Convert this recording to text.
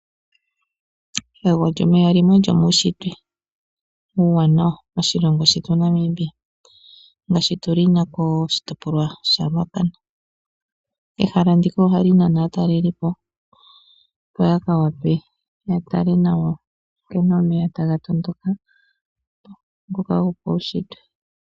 Egwo lyomeya limwe lyomuushitwe uuwanawa moshilongo shetu Namibia ngaashi tu lina koshitopolwa shaRuacana. Ehala ndika ohali nana aatalelipo opo ya tale nkene omeya taga tondoka noka gopaushitwe.